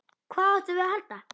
Hvað áttum við að halda?